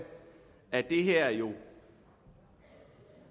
at det her endnu